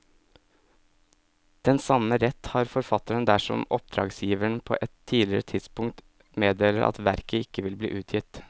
Den samme rett har forfatteren dersom oppdragsgiver på et tidligere tidspunkt meddeler at verket ikke vil bli utgitt.